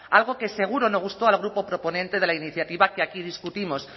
algo que seguro no gustó al grupo proponente de la iniciativa que aquí discutimos